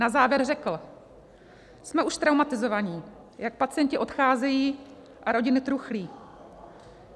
Na závěr řekl: 'Jsme už traumatizovaní, jak pacienti odcházejí a rodiny truchlí.'